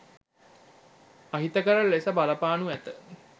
අහිතකර ලෙස බලපානු ඇත